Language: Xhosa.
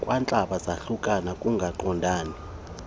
kwantlaba zahlukane ukungaqondani